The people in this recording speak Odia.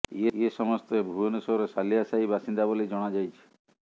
ଏ ସମେସ୍ତ ଭୁବନେଶ୍ୱର ସାଲିଆ ସାହି ବାସିନ୍ଦା ବୋଲି ଜଣାଯାଇଛି